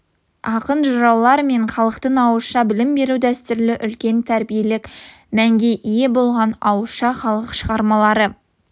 ақын жыраулар мен халықтың ауызша білім беру дәстүрі үлкен тәрбиелік мәнге ие болған ауызша халық шығармалары